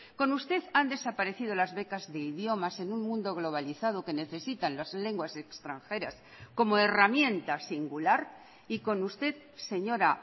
con usted han desaparecido las becas de idiomas en un mundo globalizado que necesitan las lenguas extranjeras como herramienta singular y con usted señora